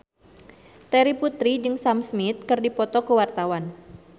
Terry Putri jeung Sam Smith keur dipoto ku wartawan